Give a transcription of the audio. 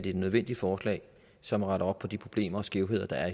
et nødvendigt forslag som retter op på de problemer og skævheder der